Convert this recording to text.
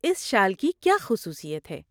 اس شال کی کیا خصوصیت ہے؟